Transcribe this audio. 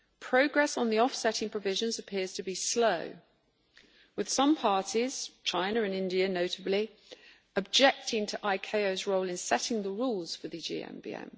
progress on the offsetting provisions appears to be slow, with some parties China and India notably objecting to ICAO's role in setting the rules for the GMBM.